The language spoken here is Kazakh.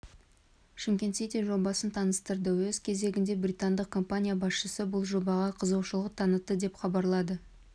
шымкент сити жобасын таныстырды өз кезегінде британдық компания басшысы бұл жобаға қызығушылық танытты деп хабарлады